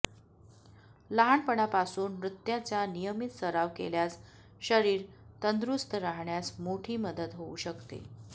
लहानपणापासून नृत्याचा नियमित सराव केल्यास शरीर तंदुरुस्त राहण्यास मोठी मदत होऊ शकते